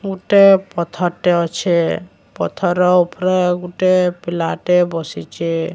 ମୋଟା ପଥର ଟେ ଅଛେ ପଥର ର ଉପରେ ଗୋଟେ ପିଲା ଟେ ବସିଚି।